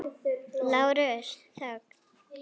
LÁRUS: Þögn!